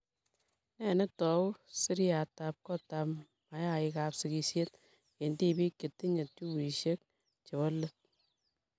Nee ne tou seriatab kotab mayaikab sigishet eng' tibik che tinye tubishek chebo let.